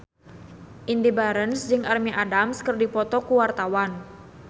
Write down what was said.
Indy Barens jeung Amy Adams keur dipoto ku wartawan